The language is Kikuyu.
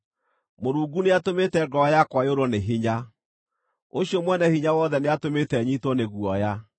Mũrungu nĩatũmĩte ngoro yakwa yũrwo nĩ hinya; ũcio Mwene-Hinya-Wothe nĩatũmĩte nyiitwo nĩ guoya.